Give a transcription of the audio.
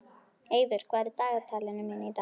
Eiður, hvað er í dagatalinu mínu í dag?